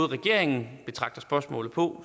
regeringen spørgsmålet på